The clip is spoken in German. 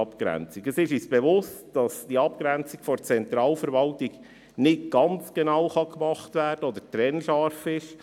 Es ist uns bewusst, dass die Abgrenzung zur Zentralverwaltung nicht ganz genau gemacht werden kann oder nicht ganz trennscharf ist.